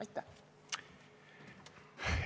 Aitäh!